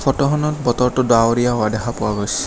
ফটোখনত বতৰটো ডাৱৰীয়া হোৱা দেখা পোৱা গৈছে।